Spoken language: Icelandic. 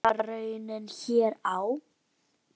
Verður það raunin hér á?